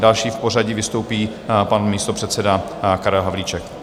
Další v pořadí vystoupí pan místopředseda Karel Havlíček.